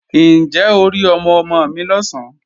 Ǹjẹ́ o rí ọmọ-ọmọ mi lọ̀sán?